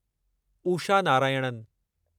Usha Narayanan